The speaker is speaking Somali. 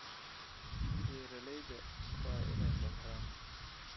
Beeralayda waa inay samraan.